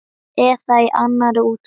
Eða í annarri útgáfu